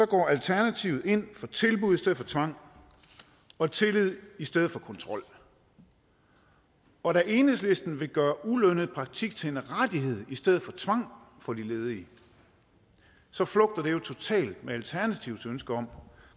går alternativet ind for tilbud i stedet for tvang og tillid i stedet for kontrol og da enhedslisten vil gøre ulønnet praktik til en rettighed i stedet for tvang for de ledige så flugter det jo totalt med alternativets ønske om